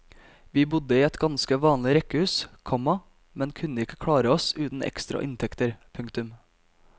Vi bodde i et ganske vanlig rekkehus, komma men kunne ikke klare oss uten ekstra inntekter. punktum